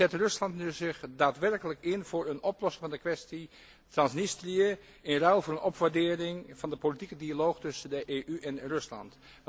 Zet Rusland zich nu daadwerkelijk in voor een oplossing van de kwestie Transnistrië in ruil voor een opwaardering van de politieke dialoog tussen de EU en Rusland?